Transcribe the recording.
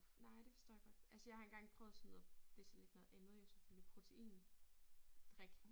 Nej det forstår jeg godt. Altså jeg har engang prøvet sådan noget det så lidt noget andet jo selvfølgelig proteindrik